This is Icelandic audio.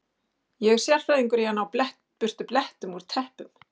Ég er sérfræðingur í að ná burtu blettum úr teppum.